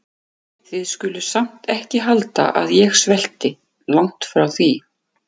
Þið skuluð samt ekki halda að ég svelti- langt því frá.